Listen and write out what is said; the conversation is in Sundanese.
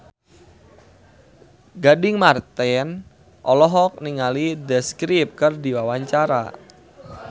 Gading Marten olohok ningali The Script keur diwawancara